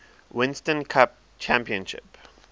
winston cup championship